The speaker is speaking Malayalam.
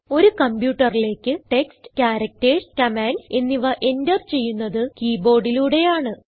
ഒരു കംപ്യൂട്ടറിലേക്ക് ടെക്സ്റ്റ് ക്യാരക്ടർസ് കമാൻഡ്സ് എന്നിവ എന്റർ ചെയ്യുന്നത് keyboardലൂടെയാണ്